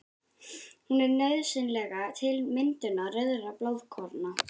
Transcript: Hún er nauðsynleg til myndunar rauðra blóðkorna.